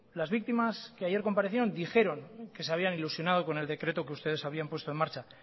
las víctimas que ayer comparecían dijeron que se habían ilusionado con el decreto que ustedes habían puesto en marcha